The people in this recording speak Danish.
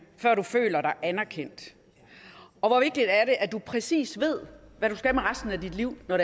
før du føler dig anerkendt og hvor vigtigt at du præcis ved hvad du skal med resten af dit liv når